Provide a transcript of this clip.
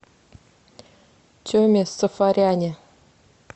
теме сафаряне